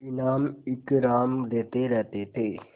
इनाम इकराम देते रहते थे